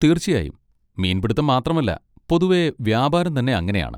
തീർച്ചയായും! മീൻപിടിത്തം മാത്രമല്ല പൊതുവെ വ്യാപാരം തന്നെ അങ്ങനെ ആണ്.